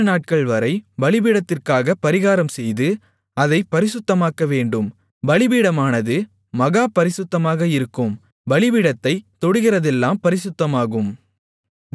ஏழுநாட்கள்வரை பலிபீடத்திற்காகப் பரிகாரம்செய்து அதைப் பரிசுத்தமாக்கவேண்டும் பலிபீடமானது மகா பரிசுத்தமாக இருக்கும் பலிபீடத்தைத் தொடுகிறதெல்லாம் பரிசுத்தமாகும்